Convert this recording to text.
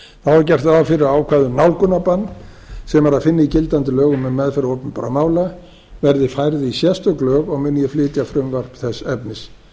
er gert ráð fyrir ákvæða um nálgunarbann sem er að finna í gildandi lögum um meðferð opinberra mála verði færð í sérstök lög og mun ég flytja frumvarp þess efnis